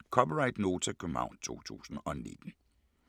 (c) Nota, København 2019